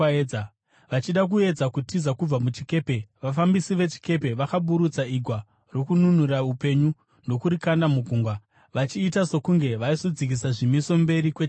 Vachida kuedza kutiza kubva muchikepe, vafambisi vechikepe vakaburutsa igwa rokununura upenyu ndokurikanda mugungwa, vachiita sokunge vaizodzikisa zvimiso mberi kwechikepe.